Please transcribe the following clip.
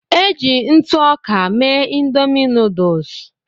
Eji ntụ ọka mee Ịndomì nuduls.